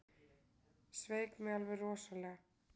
Sveik mig alveg rosalega.